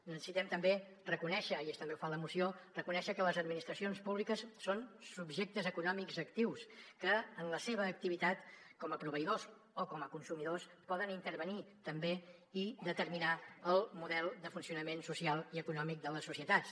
necessitem també reconèixer i també ho fa la moció que les administracions públiques són subjectes econòmics actius que en la seva activitat com a proveïdors o com a consumidors poden intervenir també i determinar el model de funcionament social i econòmic de les societats